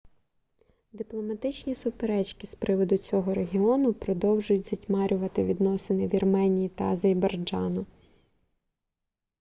дипломатичні суперечки з приводу цього регіону продовжують затьмарювати відносини вірменії та азербайджану